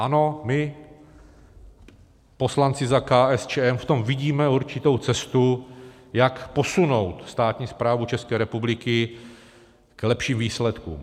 Ano, my poslanci za KSČM v tom vidíme určitou cestu, jak posunout státní správu České republiky k lepším výsledkům.